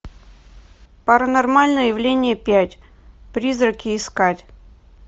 паранормальное явление пять призраки искать